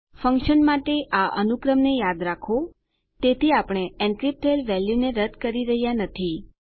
function માટે આ અનુક્રમને યાદ રાખો તેથી આપણે એનક્રીપ્ટ થયેલ વેલ્યુને રદ કરી રહ્યા નથી